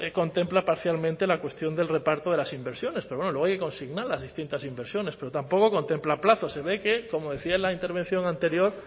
contempla parcialmente la cuestión del reparto de las inversiones pero bueno luego hay que consignar las distintas inversiones pero tampoco contempla plazos se ve que como decía en la intervención anterior